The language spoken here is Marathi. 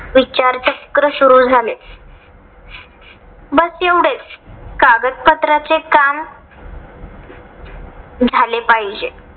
विचारचक्र सुरु झाले. बस एवढेच. कागद पत्राचे काम झाले पाहिजे.